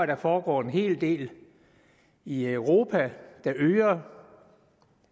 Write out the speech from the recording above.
der foregår en hel del i europa der øger